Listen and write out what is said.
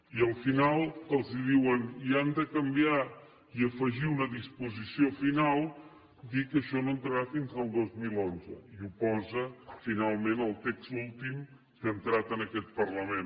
i al final els hi diuen i han de canviar i afegir una disposició final dir que això no entrarà fins al dos mil onze i ho posa finalment el text últim que ha entrat en aquest parlament